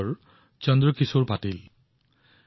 চন্দ্ৰকিশোৰজীৰ পৰিষ্কাৰ পৰিচ্ছন্নতাৰ সংকল্প অতি গভীৰ